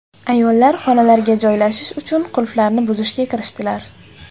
Ayollar xonalarga joylashish uchun qulflarni buzishga kirishdilar.